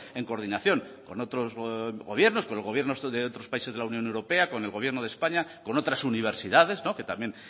en coordinación con otros gobiernos con los gobiernos de otros países de la unión europea con el gobierno de españa con otras universidades que también